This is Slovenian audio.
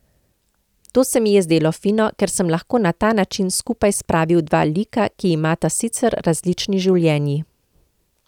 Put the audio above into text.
To se mi je zdelo fino, ker sem lahko na ta način skupaj spravil dva lika, ki imata sicer različni življenji.